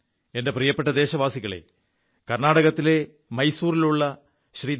എന്റെ പ്രിയപ്പെ ദേശവാസികളേ കർണ്ണാടകത്തിലെ മൈസൂറിലുള്ള ശ്രീ